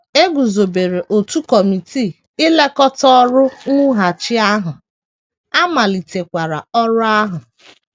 E guzobere otu kọmitii ilekọta ọrụ mwughachi ahụ, a malitekwara ọrụ ahụ.